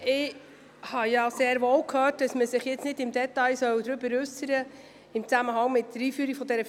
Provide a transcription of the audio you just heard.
Ich habe gehört, dass man sich nicht im Detail zur Einführung der Vertrauensarbeitszeit äussern soll.